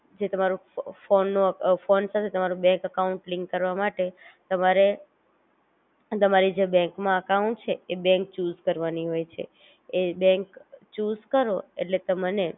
જે તમારું ફો અ ફોન નું અ ફોન સાથે તમારું બેન્ક અકાઉંટ લિન્ક કરવા માટે તમારે તમારી જે બેન્ક માં અકાઉંટ છે એ બેન્ક ચુસ કરવાની હોય છે, એ બેન્ક ચુ સ કરો એટલે તમને,